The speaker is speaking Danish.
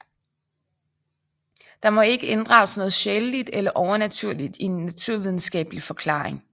Der må ikke inddrages noget sjæleligt eller overnaturligt i en naturvidenskabelig forklaring